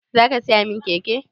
Zaka siya min keke